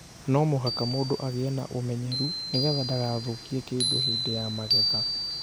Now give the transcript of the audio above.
No mũhaka mũndũ agĩe na ũmenyeru nĩ getha ndagathũũkie kĩndũ hĩndĩ ya magetha.